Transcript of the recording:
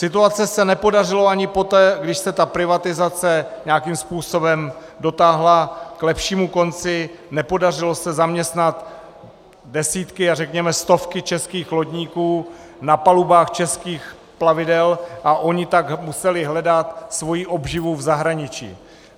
Situaci se nepodařilo ani poté, když se ta privatizace nějakým způsobem dotáhla k lepšímu konci, nepodařilo se zaměstnat desítky a řekněme stovky českých lodníků na palubách českých plavidel a oni tak museli hledat svoji obživu v zahraničí.